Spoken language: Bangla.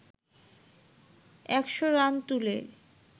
একশ রান তুলে